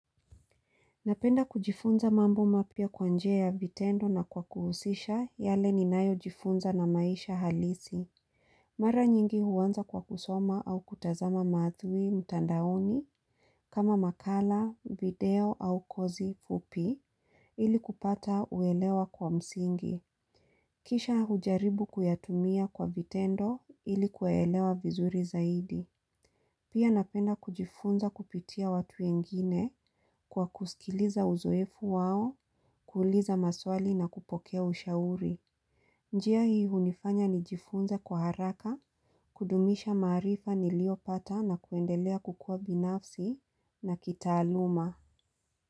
Napenda kujifunza mambo mapya kwa njia ya vitendo na kwa kuhusisha yale ninayo jifunza na maisha halisi. Mara nyingi huanza kwa kusoma au kutazama maathui mtandaoni kama makala, video au kozi fupi ili kupata uelewa kwa msingi. Kisha hujaribu kuyatumia kwa vitendo ili kuelewa vizuri zaidi. Pia napenda kujifunza kupitia watu wengine kwa kusikiliza uzoefu wao, kuliza maswali na kupokea ushauri. Njia hii unifanya nijifunza kwa haraka, kudumisha maarifa niliyopata na kuendelea kukuwa binafsi na kitaaluma.